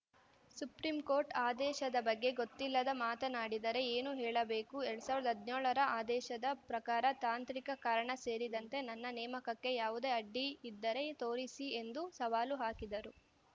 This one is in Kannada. ಸುಪ್ರೀಂ ಕೋರ್ಟ್‌ ಆದೇಶದ ಬಗ್ಗೆ ಗೊತ್ತಿಲ್ಲದೆ ಮಾತನಾಡಿದರೆ ಏನು ಹೇಳಬೇಕು ಎರಡ್ ಸಾವಿರದ ಹದಿನೇಳರ ಆದೇಶದ ಪ್ರಕಾರ ತಾಂತ್ರಿಕ ಕಾರಣ ಸೇರಿದಂತೆ ನನ್ನ ನೇಮಕಕ್ಕೆ ಯಾವುದೇ ಅಡ್ಡಿ ಇದ್ದರೆ ತೋರಿಸಿ ಎಂದು ಸವಾಲು ಹಾಕಿದರು